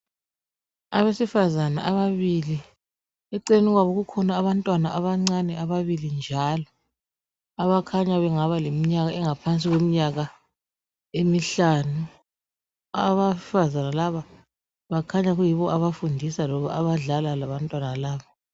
Abesifazana ababili, eceleni kwabo kukhona abantwana abancane ababili njalo abakhanya bengaba leminyaka engaphansi kweminyaka emihlanu. Abesifazana laba bakhanya beyibo abafundisa loba abadlala labantwana laba.